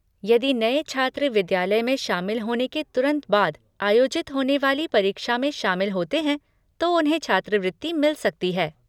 यदि नए छात्र विद्यालय में शामिल होने के तुरंत बाद आयोजित होने वाली परीक्षा में शामिल होते हैं तो उन्हें छात्रवृत्ति मिल सकती है।